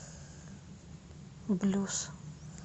блюз